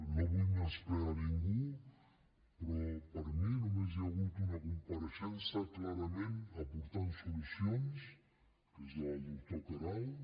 no vull menysprear ningú però per mi només hi ha hagut una compareixença clarament que ha aportat solucions que és la del doctor queralt